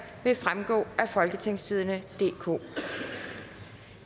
vil fremgå af folketingstidende DK